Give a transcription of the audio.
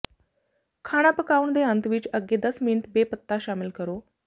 ਖਾਣਾ ਪਕਾਉਣ ਦੇ ਅੰਤ ਵਿੱਚ ਅੱਗੇ ਦਸ ਮਿੰਟ ਬੇ ਪੱਤਾ ਸ਼ਾਮਿਲ ਕਰੋ